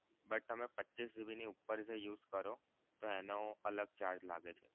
તમે પચ્ચીસ GB ની ઉપર જે use કરો તો એનો અલગ charge લાગે છે.